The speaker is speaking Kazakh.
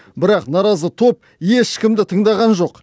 бірақ наразы топ ешкімді тыңдаған жоқ